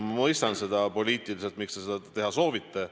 Ma mõistan, poliitiliselt, miks te seda teha soovite.